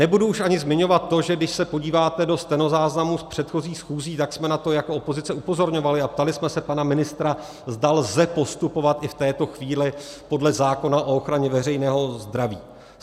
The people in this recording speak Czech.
Nebudu už ani zmiňovat to, že když se podíváte do stenozáznamů z předchozích schůzí, tak jsme na to jako opozice upozorňovali a ptali jsme se pana ministra, zda lze postupovat i v této chvíli podle zákona o ochraně veřejného zdraví.